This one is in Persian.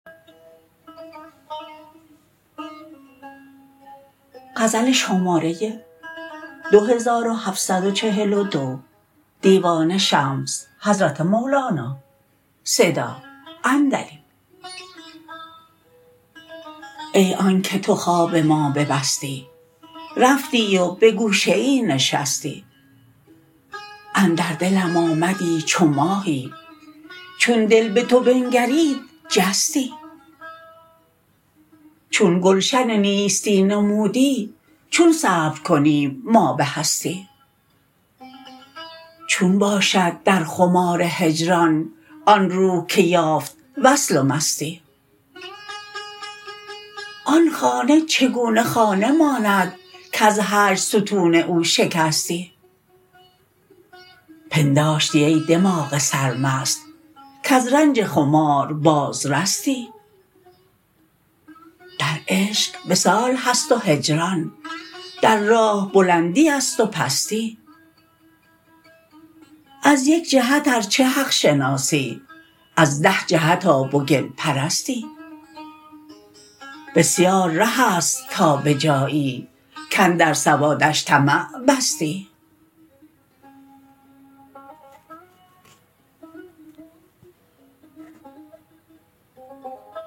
ای آنک تو خواب ما ببستی رفتی و به گوشه ای نشستی اندر دلم آمدی چو ماهی چون دل به تو بنگرید جستی چون گلشن نیستی نمودی چون صبر کنیم ما به هستی چون باشد در خمار هجران آن روح که یافت وصل و مستی آن خانه چگونه خانه ماند کز هجر ستون او شکستی پنداشتی ای دماغ سرمست کز رنج خمار بازرستی در عشق وصال هست و هجران در راه بلندی است و پستی از یک جهت ار چه حق شناسی از ده جهت آب و گل پرستی بسیار ره است تا به جایی کاندر سوداش طمع بستی